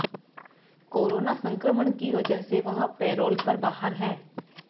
corona संक्रमण की वजह से वह पैरोल पर बाहर हैं